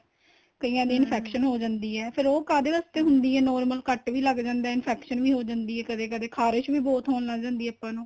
ਕਈਆਂ ਦੀ infection ਹੋ ਜਾਂਦੀ ਏ ਫ਼ੇਰ ਉਹ ਕਾਹਦੇ ਵਾਸਤੇ ਹੁੰਦੀ ਏ normal ਕੱਟ ਲੱਗ ਜਾਂਦਾ ਏ infection ਵੀ ਹੋ ਜਾਂਦੀ ਏ ਕਦੇਂ ਕਦੇਂ ਖਰਾਸ਼ ਵੀ ਬਹੁਤ ਹੋਣ ਲੱਗ ਜਾਂਦੀ ਏ ਆਪਾਂ ਨੂੰ